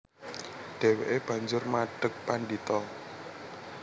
Dhèwèké banjur madheg pandhita